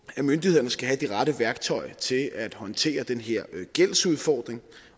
at myndighederne skal have de rette værktøjer til at håndtere den her gældsudfordring